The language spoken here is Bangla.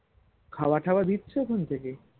খাওয়া খাওয়া দিচ্ছে ওখান থেকেই